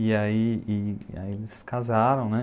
E aí eles se casaram.